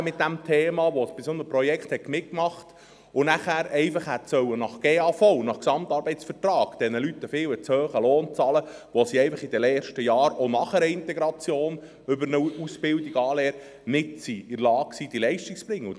Dies, nachdem sie bei einem solchen Projekt mitgemacht und nachher den Leuten nach GAV einen viel zu hohen Lohn hätte bezahlen müssen, obwohl diese nach den ersten Jahren nach der Integration mit einer Ausbildung, einer Anlehre nicht in der Lage waren, die Leistung zu erbringen.